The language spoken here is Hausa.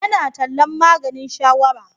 Yana tallan maganin shawara.